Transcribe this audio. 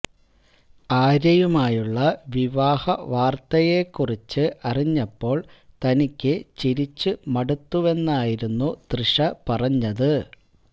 ആര്യയുമായുള്ള വിവാഹ വാര്ത്തയെക്കുറിച്ച് അറിഞ്ഞപ്പോള് തനിക്ക് ചിരിച്ച് മടുത്തുവെന്നായിരുന്നു തൃഷ പറഞ്ഞത്